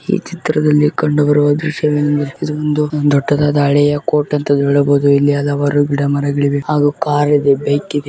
ಈ ಚಿತ್ರದಲ್ಲಿ ಕಂಡು ಬರುವ ದೃಶ್ಯವೇನೆಂದರೆ ಇದೊಂದು ದೊಡ್ಡದಾದ ಅಳೆಯ ಕೋಟ್ ಅಂತಲೂ ಹೇಳಬಹುದು ಇಲ್ಲಿ ಹಲವಾರು ಗಿಡಮರಗಳಿವೆ ಹಾಗು ಕಾರಿ ದೆ ಬೈಕ್ ಇದೆ.